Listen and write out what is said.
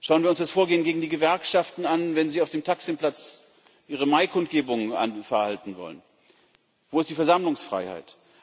Schauen wir uns das Vorgehen gegen die Gewerkschaften an, wenn sie auf dem Taksim Platz ihre Maikundgebung abhalten wollen wo ist die Versammlungsfreiheit?